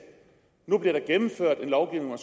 nu bliver der gennemført en lovgivning